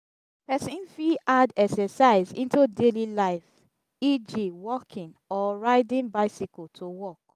person fit add exercise into daily life eg walking or riding bicycle to work